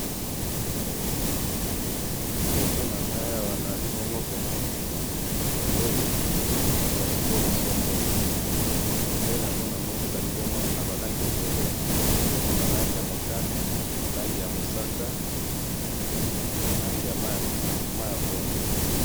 liboso nanga awa na zali bongo mona bemdele ya ekolo songolo bemdele yango na moni ezali bongo na ba langi ebele mutane langi ya mosaka na langi ya mayi ya pundu